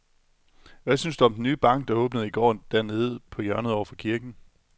Hvad synes du om den nye bank, der åbnede i går dernede på hjørnet over for kirken?